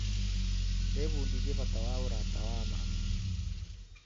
Ndĩbundithĩtie bata wa ũrata wa ma.